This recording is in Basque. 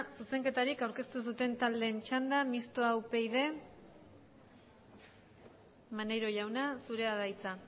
zuzenketarik aurkeztu ez duten taldeen txanda mixto upyd maneiro jauna zurea da hitza